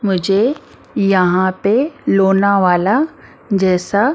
मुझे यहां पे लोनावाला जैसा।